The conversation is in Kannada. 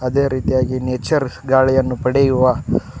ಅದೇ ರೀತಿಯಾಗಿ ನೇಚರ್ ಗಾಳಿಯನ್ನು ಪಡೆಯುವ--